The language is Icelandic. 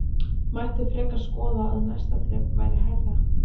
Mætti frekar skoða að næsta þrep væri hærra?